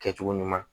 Kɛcogo ɲuman